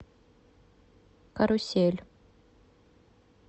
карусель